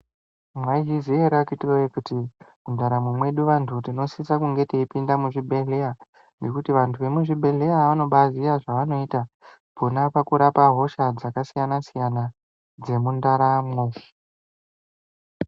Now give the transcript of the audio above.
Mwaizviziya ere akiti weye kuti mundaramo medu tinosisa kunge teipinde muzvibhehleya nekuti vantu vemuzvibhehlera vanobaiziya zvavanoita pana pakurapa hosha dzakasiyana siyana dzemwundaramwo.